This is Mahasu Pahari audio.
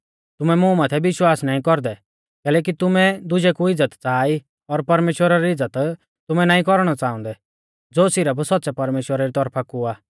तुमै मुं माथै विश्वास नाईं कौरदै कैलैकि तुमै दुजै कु इज़्ज़त च़ाहा ई और परमेश्‍वरा री इज़्ज़त तुमै नाईं कौरणौ अपणाउंदै ज़ो सिरफ सौच़्च़ै परमेश्‍वरा री तौरफा कु आ